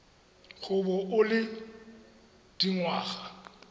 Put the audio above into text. go bo o le dingwaga